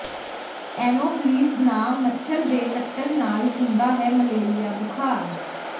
Anopheles ਨਾਂ ਮੱਛਰ ਦੇ ਕੱਟਣ ਨਾਲ ਹੁੰਦਾ ਹੈ ਮਲੇਰੀਆ ਬੁਖਾਰ